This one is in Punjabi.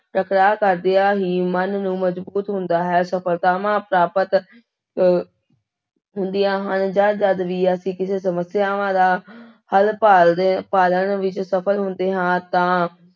ਟਕਰਾਅ ਕਰਦਿਆਂ ਹੀ ਮਨ ਨੂੰ ਮਜ਼ਬੂਤ ਹੁੰਦਾ ਹੈ, ਸਫ਼ਲਤਾਵਾਂ ਪ੍ਰਾਪਤ ਅਹ ਹੁੰਦੀਆਂ ਹਨ, ਜਾਂ ਜਦ ਵੀ ਅਸੀਂ ਕਿਸੇ ਸਮੱਸਿਆਵਾਂ ਦਾ ਹੱਲ ਭਾਲਦੇ ਭਾਲਣ ਵਿੱਚ ਸਫ਼ਲ ਹੁੰਦੇ ਹਾਂ ਤਾਂ